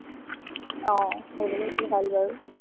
আহ সেইবিলাক খালে ভাল বাৰু।